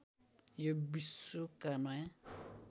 यो विश्वका नयाँ